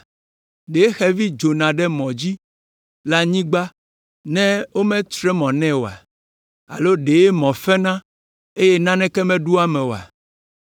Ɖe xevi dzona ɖe mɔ dzi le anyigba, ne wometre mɔ nɛ oa? Alo ɖe mɔ fena, ne naneke meɖo eme oa?